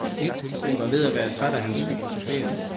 Hun var ved at være træt af hans filosoferen.